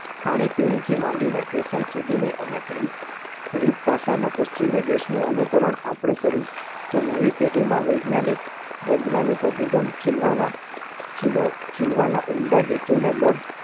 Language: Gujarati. ખાણીપીણીથી માંડીને fashion સુધીની અનેક રીત રીતભાષામાં પશ્વિમી દેશનું અનુકરણ આપણે કર્યું તો નવી પેઢીમાં વૈજ્ઞાનિક વૈજ્ઞાનિક અભિગમ ખીલવાના ખીલ ખીલવાના ઉમદા હેતુને બળ